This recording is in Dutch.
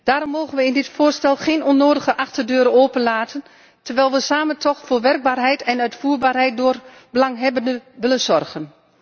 Daarom mogen we in dit voorstel geen onnodige achterdeuren openlaten terwijl we samen toch voor werkbaarheid en uitvoerbaarheid door belanghebbenden willen zorgen.